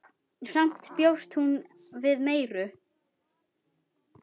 Samt bjóst hún við meiru.